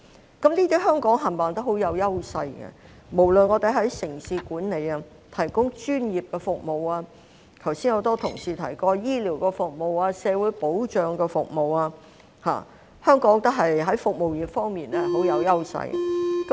香港在這些方面全部也相當有優勢，我們無論在城市管理、提供專業服務，或剛才很多同事提及的醫療服務、社會保障服務，香港在服務業方面相當有優勢。